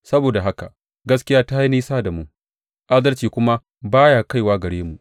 Saboda haka gaskiya ta yi nisa da mu, adalci kuma ba ya kaiwa gare mu.